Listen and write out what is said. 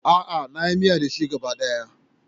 A'a, na yi miya da shi gaba ɗaya.